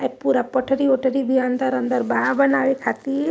ये पूरा पटरी वटरी भी अंदर अंदर बाहर बनाए खातिर।